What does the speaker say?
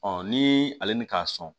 ni ale ni k'a sɔn